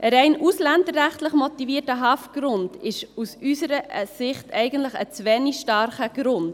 Ein allein ausländerrechtlich motivierter Haftgrund ist aus unserer Sicht ein zu wenig starker Grund.